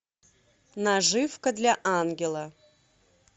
наживка для ангела